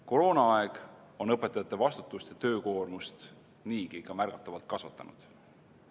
Koroonaaeg on õpetajate vastutust ja töökoormust niigi märgatavalt kasvatanud.